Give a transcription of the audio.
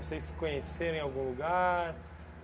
Vocês se conheceram em algum lugar?